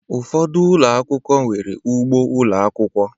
Ụfọdụ ụlọ akwụkwọ, nwere ugbo ụlọ akwụkwọ